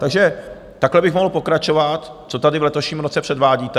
A takhle bych mohl pokračovat, co tady v letošním roce předvádíte.